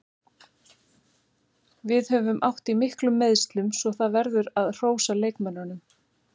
Við höfum átt í miklum meiðslum svo það verður að hrósa leikmönnunum.